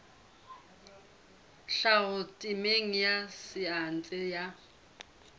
tlhaho temeng ya saense ya